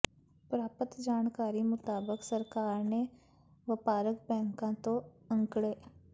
ਪ੍ਰਾਪਤ ਜਾਣਕਾਰੀ ਮੁਤਾਬਕ ਸਰਕਾਰ ਨੇ ਵਪਾਰਕ ਬੈਂਕਾਂ ਤੋਂ ਅੰਕੜੇ